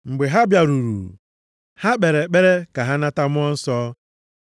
Mgbe ha bịaruru, ha kpere ekpere ka ha nata Mmụọ Nsọ.